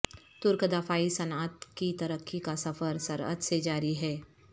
ترک دفاعی صنعت کی ترقی کا سفر سرعت سے جاری ہے